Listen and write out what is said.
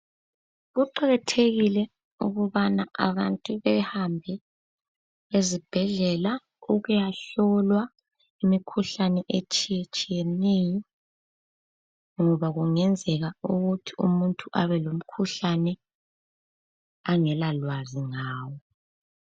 Kuqakathekile ukubana abantu behambe ezibhedlela ukuyahlolwa imikhuhlane etshiyetshiyeneyo ngoba kungenzeka ukuthi umuntu abe lomkhuhlane angela lwazi ngawo.